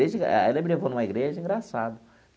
Ela me levou numa igreja engraçada.